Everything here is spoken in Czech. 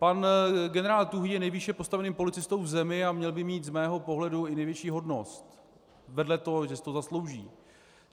Pan generál Tuhý je nejvýše postaveným policistou v zemi a měl by mít z mého pohledu i nejvyšší hodnost, vedle toho, že si to zaslouží.